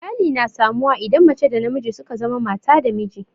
Iyali na samu wa idan mace da namiji suka zama mata da miji